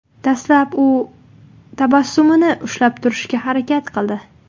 Dastlab u tabassumini ushlab turishga harakat qildi.